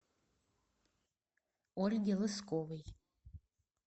ольге лысковой